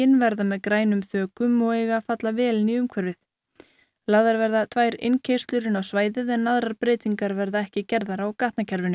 verða með grænum þökum og eiga að falla vel inn í umhverfið lagðar verða tvær innkeyrslur inn á svæðið aðrar breytingar verða ekki gerðar á gatnakerfinu